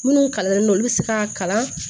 Minnu kalannen don olu bɛ se ka kalan